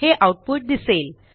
हे आऊटपुट दिसेल